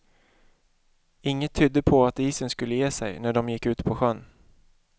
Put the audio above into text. Inget tydde på att isen skulle ge sig när de gick ut på sjön.